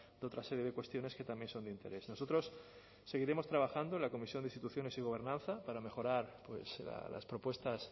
de otra serie de cuestiones que también son de interés nosotros seguiremos trabajando en la comisión de instituciones y gobernanza para mejorar las propuestas